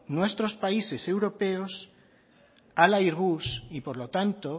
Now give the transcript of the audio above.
nuestros países europeos al airbus y por lo tanto